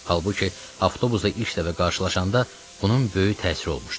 Halbuki avtobusda ilk dəfə qarşılaşanda bunun böyük təsiri olmuşdu.